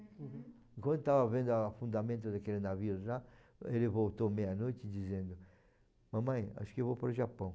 Uhum. Enquanto estava vendo o afundamento daquele navio lá, ele voltou meia-noite dizendo, mamãe, acho que eu vou para o Japão.